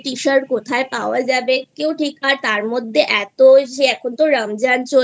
Tshirt কোথায় পাওয়া যাবে কেউ ঠিক আর তার মধ্যে এতো যে এখন তো রমজান